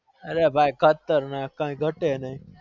અલ્યા ખતરનાક ભાઈ ગતે નઈ